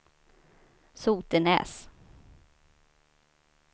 Sotenäs